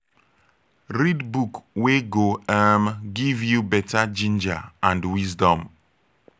read book wey go um give yu beta ginger and wisdom.